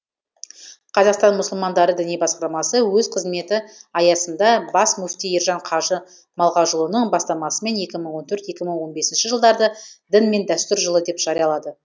қазақстан мұсылмандары діни басқармасы өз қызметі аясында бас мүфти ержан қажы малғажыұлының бастамасымен екі мың он төрт екі мың он бесінші жылдарды дін мен дәстүр жылы деп жариялады